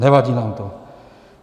Nevadí nám to.